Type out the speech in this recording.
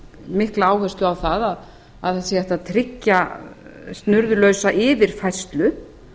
mikla áherslu á að að sé hægt að tryggja snurðulausa yfirfærslu